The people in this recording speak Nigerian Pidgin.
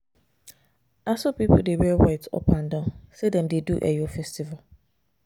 Na so people wear white up and down sey dem dey do Eyo festival.